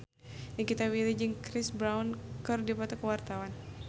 Nikita Willy jeung Chris Brown keur dipoto ku wartawan